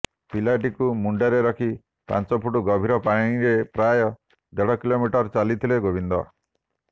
ପିଲାଟିକୁ ମୁଣ୍ଡରେ ରଖି ପାଂଚ ଫୁଟ ଗଭୀର ପାଣିରେ ପ୍ରାୟ ଦେଢ କିଲୋମିଟର ଚାଲିଥିଲେ ଗୋବିନ୍ଦ